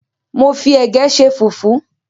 Mo fi ẹ̀gẹ́ ṣe fùfú.